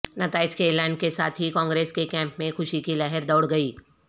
نتائج کے اعلان کے ساتھ ہی کانگریس کے کیمپ میں خوشی کی لہر دوڑ گئی